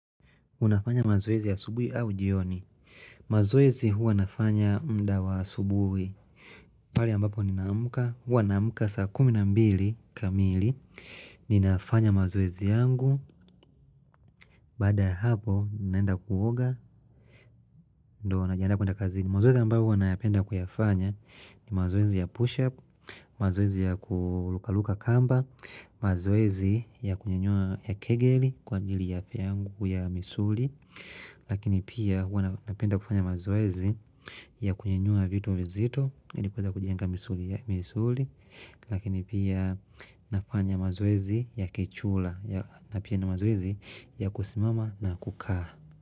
Unafanya mazoezi ya asubuhi au jioni. Mazoezi huwa nafanya muda wa asubuhi. Pale ambapo ninamka. Huwa naamka saa kumi na mbili kamili. Ninafanya mazoezi yangu. Baada ya hapo, naenda kuoga. Ndo, najiandaa kwenda kazini. Mazoezi ambayo huwa nayapenda kuyafanya. Ni mazoezi ya push up. Mazoezi ya kurukaruka kamba. Mazoezi ya kunyenyua kegeli. Kwa ajili ya afya yangu misuli. Lakini pia hua napenda kufanya mazoezi ya kunyenyua vitu vizito ili kuweza kujenga misuli Lakini pia nafanya mazoezi ya kichura na pia na mazoezi ya kusimama na kukaa.